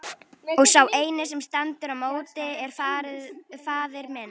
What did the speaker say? Og sá eini sem stendur í móti er faðir minn!